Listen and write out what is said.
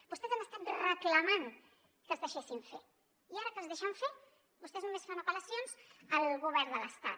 vostès han estat reclamant que els deixessin fer i ara que els deixen fer vostès només fan apel·lacions al govern de l’estat